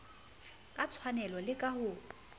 ka tshwanelo le ka ho